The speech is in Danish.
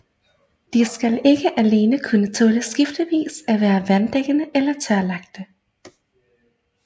De skal ikke alene kunne tåle skiftevis at være vanddækkede og tørlagte